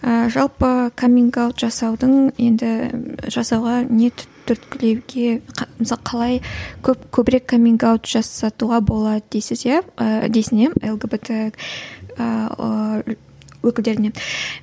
ыыы жалпы каминг аут жасаудың енді жасауға не түркілеуге мысалы қалай көп көбірек каминг аут жасатуға болады дейсіз иә ііі дейсің иә лгбт ыыы өкілдеріне